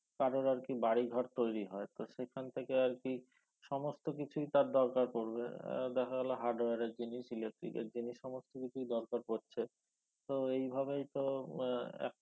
কারোর আরকি বাড়িঘর তৈরি হয় তো সেইখান থেকে আরকি সমস্ত কিছুই তার দরকার পরবে আহ দেখা গেল hardware এর জিনিস electric এর জিনিস সমস্তকিছুই দরকার পরছে তো এইভাবেই তো আহ একটা